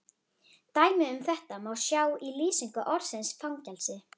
Dæmi um þetta má sjá í lýsingu orðsins fangelsi: